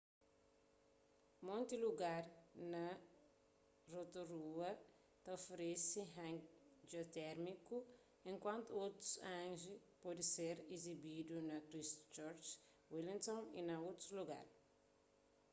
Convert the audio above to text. monti lugar na rotorua ta oferese hangi jiotérmiku enkuantu otus hangi pode ser izibidu na christchurch wellington y na otus lugar